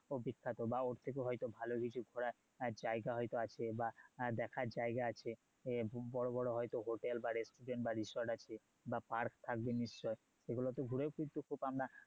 বিখ্যাত বা ওর থেকেও হয়তো ভালো কিছু ঘোরার জায়গা হয়তো আছে বা দেখার জায়গা আছে বড়ো বড়ো হয়তো হোটেল বা restaurant বা resort আছে বা park থাকবে নিশ্চয় সেগুলোতে ঘুরেও কিন্তু আমরা